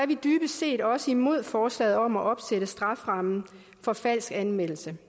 vi dybest set også imod forslaget om at opsætte straframmen for falsk anmeldelse